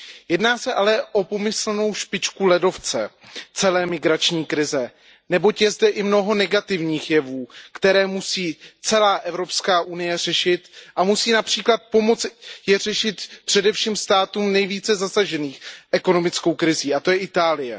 Jedná se ale o pomyslnou špičku ledovce celé migrační krize, neboť je zde i mnoho negativních jevů, které musí celá Evropská unie řešit a musí například pomoci řešit především státům nejvíce zasaženým ekonomickou krizí, a to je Itálie.